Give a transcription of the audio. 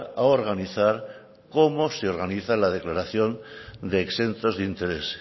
a organizar cómo se organiza la declaración de exentos de interés